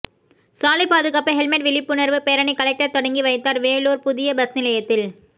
சாலைபாதுகாப்பு helmet விழிப்புணர்வு பேரணி collector தொடங்கி வைத்தார் வேலூர் புதிய பஸ்நிலையத்தில்